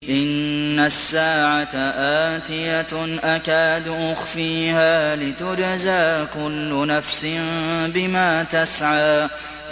إِنَّ السَّاعَةَ آتِيَةٌ أَكَادُ أُخْفِيهَا لِتُجْزَىٰ كُلُّ نَفْسٍ بِمَا تَسْعَىٰ